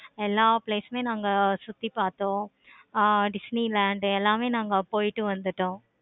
எல்லா place சுமே நாங்க சுத்தி பார்த்தோம். ஆஹ் disney land எல்லாமே நாங்க போயிட்டு வந்துட்டோம்.